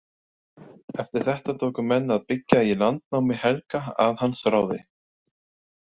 Eftir þetta tóku menn að byggja í landnámi Helga að hans ráði.